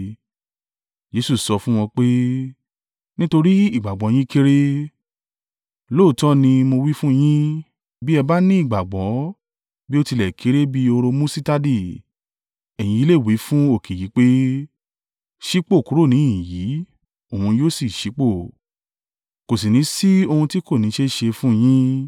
Jesu sọ fún wọn pé, “Nítorí ìgbàgbọ́ yín kéré. Lóòótọ́ ni mo wí fún yin, bí ẹ bá ni ìgbàgbọ́, bí ó tilẹ̀ kéré bí hóró musitadi, ẹ̀yin lè wí fún òkè yìí pé, ‘Sípò kúrò níhìn-ín yìí,’ òun yóò sì ṣí ipò. Kò sì ní sí ohun tí kò ní í ṣe é ṣe fún yín.”